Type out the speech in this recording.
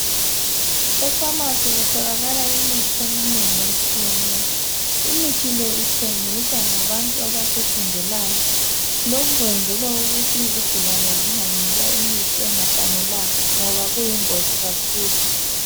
Efamasi kutholakala imithi eminengi etshiyeneyo. Imithi le ithengiswa ngabantu abakufundelayo. Lokhu kwenzelwa ukuthi izigulane zinganikwa imithi engafanelanga ngoba kuyingozi kakhulu.